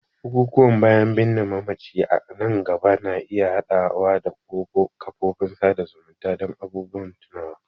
bukukuwan bayan binne mamaci a nan gaba na iya haɗawa da kafofin sada zumunta don abubuwan tunawa.